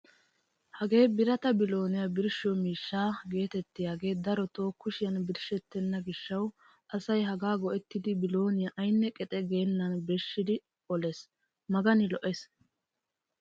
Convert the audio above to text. Hagee birata bilooniyaa birshshiyo miishsha getettiyaagee darotoo kushiyaan birshettena gishshawu asay hagaa go"ettidi bilooniyaa aynne qexe geennan birshi oliigees magani lo"ees!